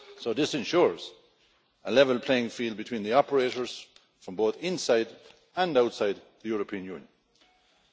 This ensures a level playing field between the operators from both inside and outside the European Union.